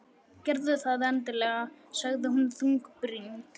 Gerðu það endilega sagði hún þungbrýnd.